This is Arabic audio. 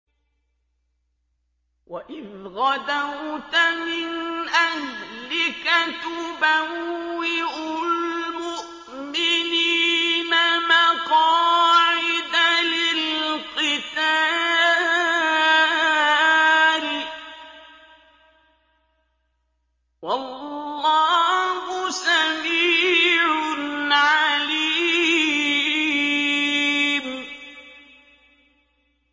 وَإِذْ غَدَوْتَ مِنْ أَهْلِكَ تُبَوِّئُ الْمُؤْمِنِينَ مَقَاعِدَ لِلْقِتَالِ ۗ وَاللَّهُ سَمِيعٌ عَلِيمٌ